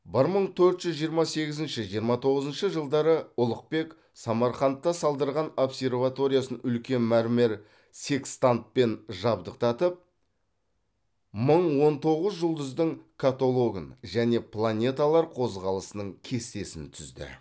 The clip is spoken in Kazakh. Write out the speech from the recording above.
бір мың төрт жүз жиырма сегізінші жиырма тоғызыншы жылдары ұлықбек самарқанда салдырған обсерваториясын үлкен мәрмәр секстантпен жабдықтатып мың он тоғыз жұлдыздың каталогын және планеталар қозғалысының кестесін түзді